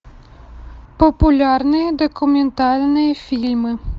популярные документальные фильмы